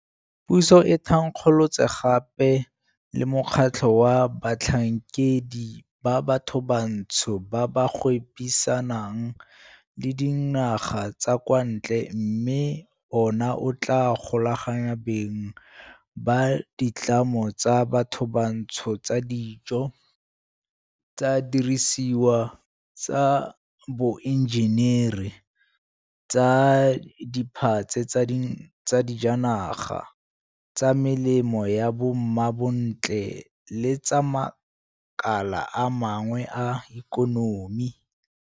Puso e thankgolotse gape le mokgatlho wa batlhankedi ba bathobantsho ba ba gwebisanang le dinaga tsa kwa ntle mme ona o tla golaganya beng ba ditlamo tsa bathobantsho tsa dijo, tsa didirisiwa tsa boenjenere, tsa diphatse tsa dijanaga, tsa melemo ya bo mmabontle le tsa makala a mangwe a ikonomi.